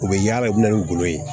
U bɛ yaala u bɛ na ni golo ye ye